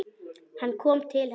Hann kom til hennar.